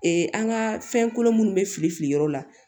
an ka fɛn kolo minnu bɛ fili fili yɔrɔ la